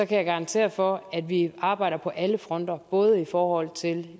kan jeg garantere for at vi arbejder på alle fronter både i forhold til